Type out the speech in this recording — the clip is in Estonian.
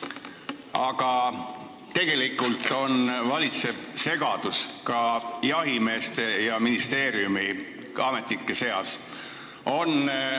Aga tegelikult valitseb segadus ka jahimeeste ja ministeeriumiametnike seas.